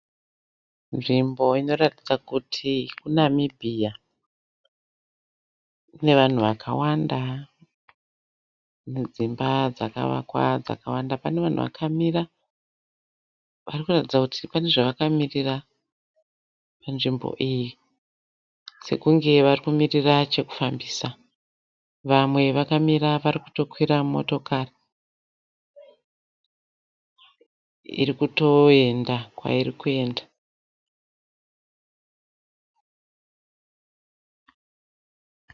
Nzvimbo inoratidza kuti kuNamibia. Kune vanhu vakawanda nedzimba dzakavakwa dzakawanda. Pane vanhu vakamira vari kuratidza kuti pane zvavakamirira panzvimbo iyi sekunge varikumirira chekufambisa. Vamwe vakamira vari kutokwira motokari iri kutoenda kwairi kuenda.